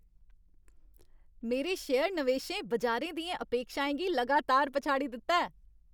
मेरे शेयर नवेशें बजारै दियें अपेक्षाएं गी लगातार पछाड़ी दित्ता ऐ।